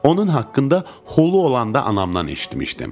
Onun haqqında holu olanda anamdan eşitmişdim.